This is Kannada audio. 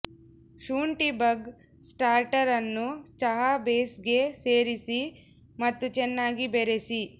ಶುಂಠಿ ಬಗ್ ಸ್ಟಾರ್ಟರ್ ಅನ್ನು ಚಹಾ ಬೇಸ್ಗೆ ಸೇರಿಸಿ ಮತ್ತು ಚೆನ್ನಾಗಿ ಬೆರೆಸಿ